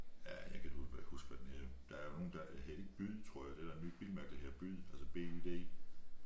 Øh jeg kan ikke huske hvad den hedder der er nogle der hedder det ikke Byd tror jeg det der nye bilmærke der hedder Byd altså b y d?